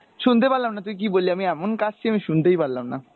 শুনতে পারলাম না তুই কী বললি আমি এমন কাশছি আমি শুনতেই পারলাম না।